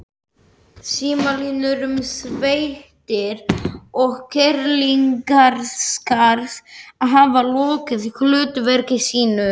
Hollusta við föðurlandið og leiðtoga þess.